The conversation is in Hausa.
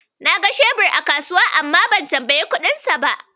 Na ga shebir a kasuwa, amma ban tambayi kuɗinsa ba.